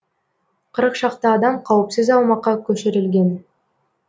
қырық шақты адам қауіпсіз аумаққа көшірілген